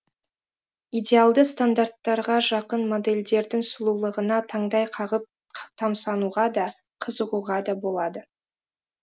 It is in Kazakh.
идеалды стандарттарға жақын модельдердің сұлулығына таңдай қағып тамсануға да қызығуға да болады